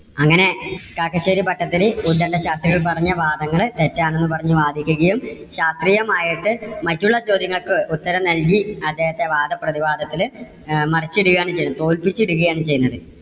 അങ്ങനെ കാക്കശ്ശേരി ഭട്ടതിരി ഉത്ഗണ്ട ശാസ്ത്രികൾ പറഞ്ഞ വാദങ്ങള് തെറ്റാണെന്നും പറഞ്ഞ് വാദിക്കുകയും. ശാസ്ത്രിയമായിട്ട് മറ്റുള്ള ചോദ്യങ്ങൾക്ക് ഉത്തരം നൽകി അദ്ദേഹത്തെ വാദപ്രതിവാദത്തില് അഹ് മറിച്ചിടുകയാണ് ചെയ്തത് തോല്പിച്ചിടുകയാണ് ചെയ്യുന്നത്.